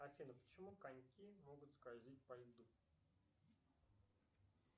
афина почему коньки могут скользить по льду